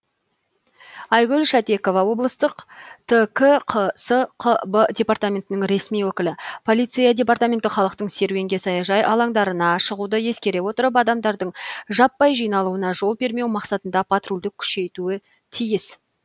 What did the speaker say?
айгүл шатекова облыстық ткқсқб департаментінің ресми өкілі полиция департаменті халықтың серуенге саяжай алаңдарына шығуды ескере отырып адамдардың жаппай жиналуына жол бермеу мақсатында патрульді күшейтуі тиіс